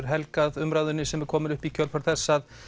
helgað umræðunni sem er komin upp í kjölfar þess að